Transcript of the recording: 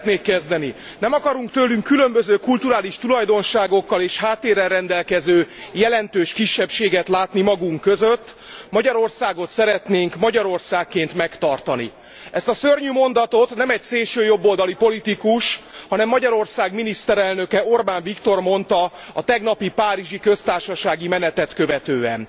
kezdeni Nem akarunk tőlünk különböző kulturális tulajdonságokkal és háttérrel rendelkező jelentős kisebbséget látni magunk között, Magyarországot szeretnénk Magyarországként megtartani. Ezt a szörnyű mondatot nem egy szélsőjobboldali politikus, hanem Magyarország miniszterelnöke, Orbán Viktor mondta a tegnapi párizsi Köztársasági Menetet követően.